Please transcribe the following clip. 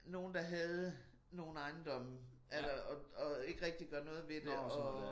Nogen der havde nogen ejendomme eller og og ikke rigtig gør noget ved det og